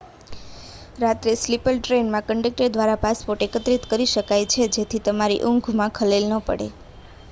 રાત્રે સ્લીપર ટ્રેનમાં કન્ડક્ટર દ્વારા પાસપોર્ટ એકત્ર િત કરી શકાય છે જેથી તમારી ઊંઘ માં ખલેલ ન પડે